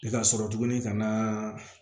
I ka sɔrɔ tuguni ka na